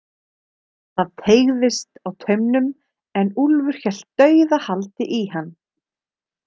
Það teygðist á taumnum en Úlfur hélt dauðahaldi í hann.